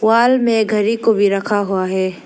Wall में घड़ी को भी रखा हुआ है।